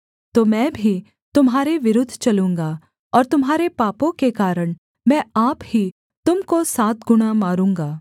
तो मैं भी तुम्हारे विरुद्ध चलूँगा और तुम्हारे पापों के कारण मैं आप ही तुम को सात गुणा मारूँगा